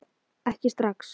Ekki strax